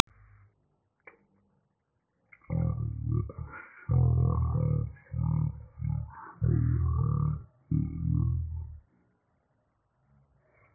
Þeir voru þögulir þegar þeir hjóluðu upp að hólnum.